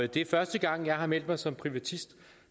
det er første gang jeg har meldt mig som privatist